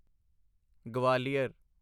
Gwalior